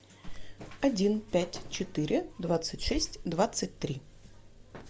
один пять четыре двадцать шесть двадцать три